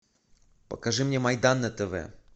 покажи мне майдан на тв